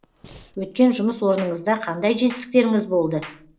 өткен жұмыс орныңызда қандай жетістіктеріңіз болды